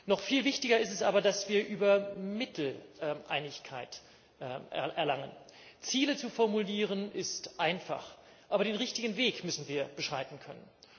Noch viel wichtiger ist aber, dass wir über die Mittel Einigkeit erlangen. Ziele zu formulieren, ist einfach. Aber den richtigen Weg müssen wir beschreiten können.